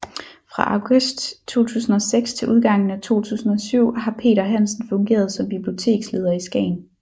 Fra august 2006 til udgangen af 2007 har Peter Hansen fungeret som biblioteksleder i Skagen